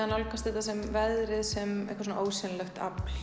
að nálgast þetta sem veðrið sem eitthvað ósýnilegt afl